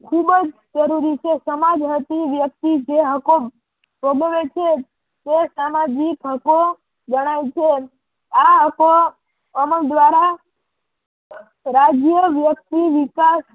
ખુબ જ જરૂરી છે. સમાજ હતી વ્યક્તિ જે હકો ભોગવે છે તે સામાજિક હકો ગણાય છે. આ હકો અમલ દ્વારા રાજ્ય વેડફી વિશાળ